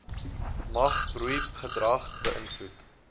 mag broeigedrag beïnvloed